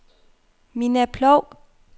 Minna Ploug